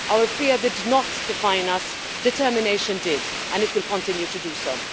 Our fear did not define us determination did, and it will continue to do so.